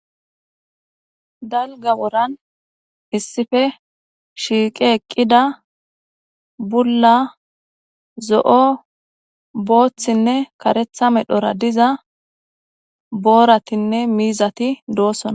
dalga woran issife shiiqe eqqida bulla zo7o booththinne karetha medhora diza booratinne miizati doossonna